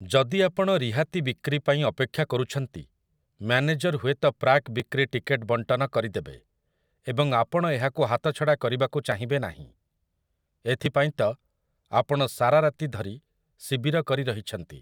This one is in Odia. ଯଦି ଆପଣ ରିହାତିବିକ୍ରି ପାଇଁ ଅପେକ୍ଷା କରୁଛନ୍ତି, ମ୍ୟାନେଜର ହୁଏତ ପ୍ରାକ୍‌ବିକ୍ରି ଟିକେଟ ବଣ୍ଟନ କରିଦେବେ, ଏବଂ ଆପଣ ଏହାକୁ ହାତଛଡ଼ା କରିବାକୁ ଚାହିଁବେ ନାହିଁ ! ଏଥିପାଇଁତ ଆପଣ ସାରା ରାତି ଧରି ଶିବିର କରି ରହିଛନ୍ତି !